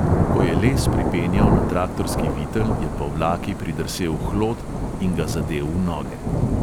Ko je les pripenjal na traktorski vitel, je po vlaki pridrsel hlod in ga zadel v noge.